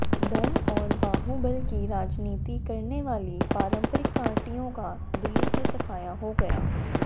धन और बाहुबल की राजनीति करने वाली पारंपरिक पार्टियों का दिल्ली से सफाया हो गया